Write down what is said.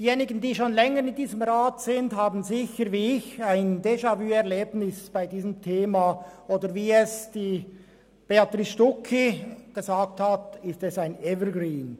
Diejenigen, die wie ich schon länger in diesem Rat sitzen, haben bei diesem Thema sicherlich ein Déjà-vu-Erlebnis, oder wie Béatrice Stucki gesagt hat, ist es ein Evergreen.